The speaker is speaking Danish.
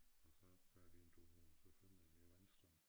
Og så kører vi en tur og så følger vi vandstrømmen